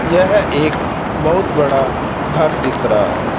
यह एक बहुत बड़ा घर दिख रहा है।